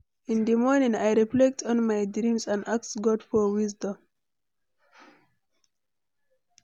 In di morning, I reflect on my dreams and ask God for wisdom.